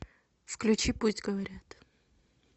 включи пусть говорят